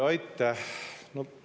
Aitäh!